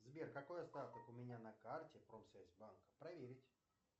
сбер какой остаток у меня на карте промсвязьбанка проверить